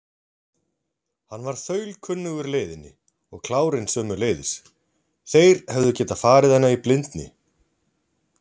Hann var þaulkunnugur leiðinni og klárinn sömuleiðis, þeir hefðu getað farið hana í blindni.